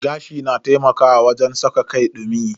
Gashi na taimakawa wajen saka kai dumi.